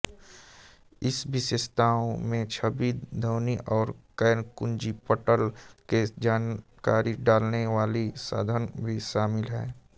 इस विशेषताओं में छवि ध्वनि और गैरकुंजीपटल के जानकारी डालने वाले साधन भी शामिल है